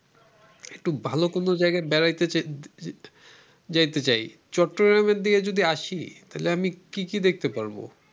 একটু ভালো কোন জায়গায় বেড়াইতে যেতে চাই চট্টগ্রামের দিকে যদি আসি তাইলে আমি কি কি দেখতে পারবো ।